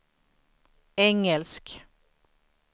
engelsk